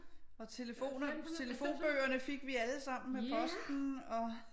Og telefonbøgerne fik vi allesammen med posten